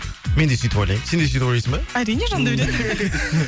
мен де сөйтіп ойлаймын сен де сөйтіп ойлайсың ба әрине жандаурен